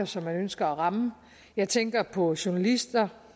som man ønsker at ramme jeg tænker på journalister